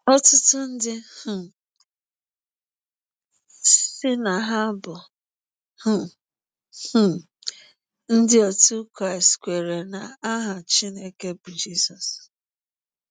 Ọtụtụ ndị um sị na ha bụ um um Ndị otu Krịstị kweere na aha Chineke bụ Jisọs.